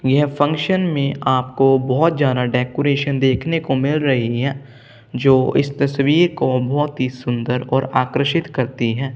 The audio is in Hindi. यह फंक्शन में आपको बहोत ज्यादा डेकोरेशन देखने को मिल रही हैं जो इस तस्वीर को बहुत ही सुंदर और आकर्षित करती हैं।